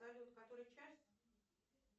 салют который час